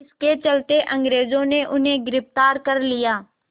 इसके चलते अंग्रेज़ों ने उन्हें गिरफ़्तार कर लिया